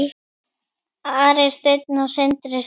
Ari Steinn og Sindri Snær.